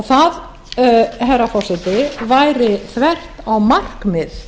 það herra forseti væri þvert á markmið